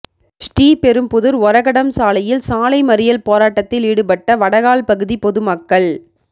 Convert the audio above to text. ஸ்ரீபெரும்புதூா் ஒரகடம் சாலையில் சாலை மறியல் போராட்டத்தில் ஈடுபட்ட வடகால் பகுதி பொதுமக்கள்